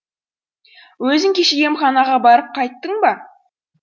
өзің кеше емханаға барып қайттың ба